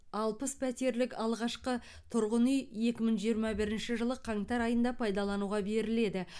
алпыс пәтерлік алғашқы тұрғын үй екі мың жиырма бірінші жылы қаңтар айында пайдалануға беріледі